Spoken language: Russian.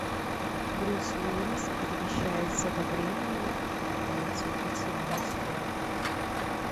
брюс уиллис перемещается во времени и пытается убить самого себя